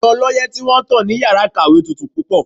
Ẹ̀rọ ọlọ́yẹ́ tí wọ́n tán ní yàrá ìkàwé tutù púpọ̀.